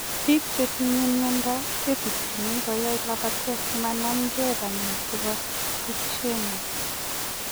Piik chetinyee mionitok kisimchin koyae lapatet simanam gei panyeek chepo duchenne